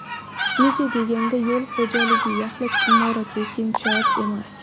Nega deganda yo‘l xo‘jaligi yaxlit imorat yoki inshoot emas.